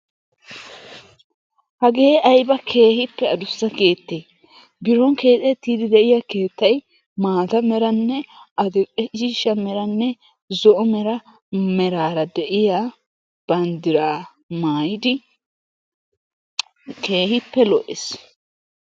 Hagee ayiba keehippe adussa keettee! Biron keexettiiddi de'iya keettay maata meranne adl"e cooshsha meranne zo'o Mera meraara de'iya banddiraa maayidi keehippe lo'ees.